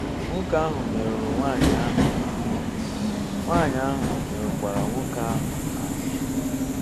Nwoke ahụ merụrụ nwanyị ahụ ahụ, nwanyị ahụ merụkwara nwoke ahụ ahụ